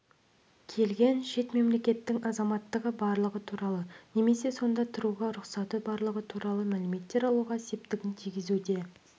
келген шет мемлекеттің азаматтығы барлығы немесе сонда тұруға рұқсаты барлығы туралы мәліметтер алуда септігін тигізуге